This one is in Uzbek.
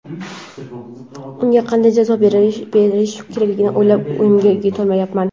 unga qanday jazo berish kerakligini o‘ylab o‘yimga yetolmayapman.